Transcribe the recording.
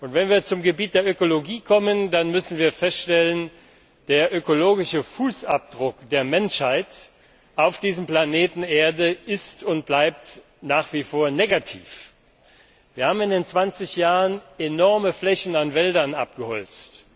Wenn wir zum Gebiet der Ökologie kommen, dann müssen wir feststellen Der ökologische Fußabdruck der Menschheit auf diesem Planeten Erde ist und bleibt nach wie vor negativ. Wir haben in den 20 Jahren enorme Flächen an Wäldern abgeholzt.